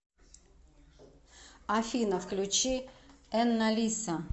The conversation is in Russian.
афина включи энналиса